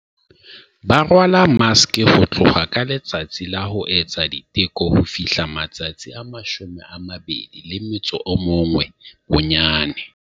Ba rwala maske, ho tloha ka letsatsi la ho etsa diteko ho fihla matsatsi a 21 bonyane.